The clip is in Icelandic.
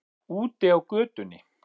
Úti á götunni.